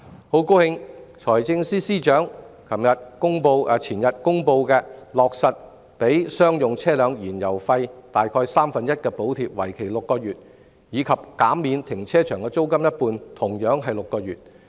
我很高興財政司司長前天公布落實向商用車輛提供約三分之一的燃油費補貼，為期6個月，以及減免停車場一半租金，同樣為期6個月。